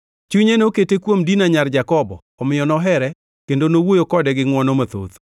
Chunye nokete kuom Dina nyar Jakobo omiyo nohere kendo nowuoyo kode gi ngʼwono mathoth.